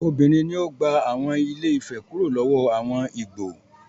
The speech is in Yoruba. Obìnrin ni ó gba àwọn Ilé-Ifẹ̀ kúrò lọ́wọ́ àwọn Ìgbò.